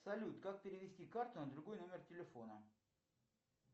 салют как перевести карту на другой номер телефона